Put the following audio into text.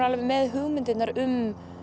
með hugmyndirnar um